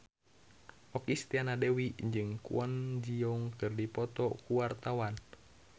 Okky Setiana Dewi jeung Kwon Ji Yong keur dipoto ku wartawan